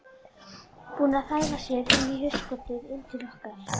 Búin að þvæla sér inn í hugskotið, inn til okkar